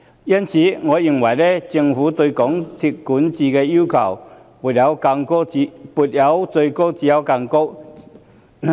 因此，我認為政府對港鐵公司的管治要求應"沒有最高，只有更高"。